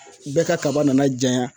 Bɛɛ ka kaba nana janyan